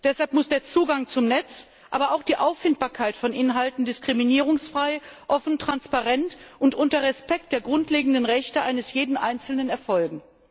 Deshalb muss der Zugang zum Netz, aber auch die Auffindbarkeit von Inhalten diskriminierungsfrei, offen, transparent und unter Achtung der grundlegenden Rechte eines jeden Einzelnen erfolgen.